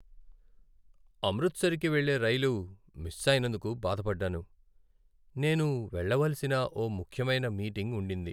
అమృత్సర్కి వెళ్లే రైలు మిస్ అయినందుకు బాధపడ్డాను, నేను వెళ్ళవలసిన ఓ ముఖ్యమైన మీటింగ్ ఉండింది.